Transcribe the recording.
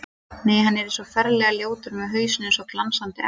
Nei, hann yrði svo ferlega ljótur með hausinn eins og glansandi egg.